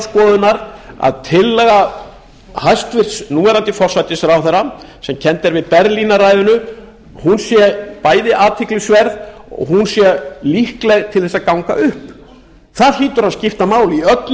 skoðunar að tillaga hæstvirts núverandi forsætisráðherra sem kennd er við berlínar sé bæði athyglisverð og hún sé líkleg til að ganga upp það hlýtur að skipta máli í öllu